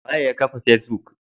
Waye yakafa facebook?